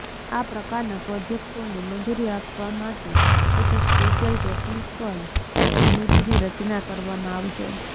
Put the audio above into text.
આ પ્રકારના પ્રોજેક્ટોને મંજૂરી આપવા માટે એક સ્પેશિયલ ટેક્નિકલ કમિટીની રચના કરવામાં આવશે